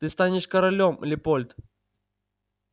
ты станешь королём лепольд